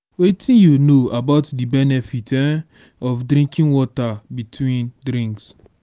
wetin you know about di benefits um of drinking water between drinks?